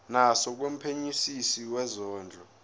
naso kumphenyisisi wezondlo